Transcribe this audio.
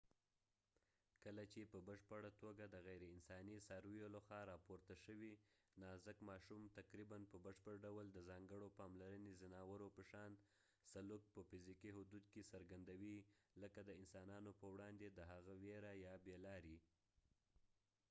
کله چې په بشپړه توګه د غیر انساني څارویو لخوا راپورته شوي، نازک ماشوم تقريباً په بشپړ ډول د ځانګړو پاملرنې ځناورو په شان سلوک په فزیکي حدود کې څرګندوي، لکه د انسانانو په وړاندې د هغه ویره یا بې لاري